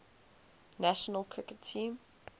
national cricket team